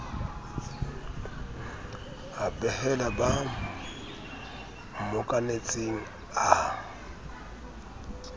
a behela ba mmokanetseng a